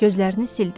Gözlərini sildi.